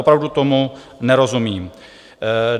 Opravdu tomu nerozumím.